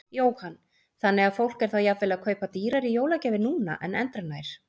Jóhann: Þannig að fólk er þá jafnvel að kaupa dýrari jólagjafir núna en endranær?